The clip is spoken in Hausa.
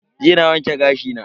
Jiya na wanke gashi na.